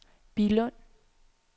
Billund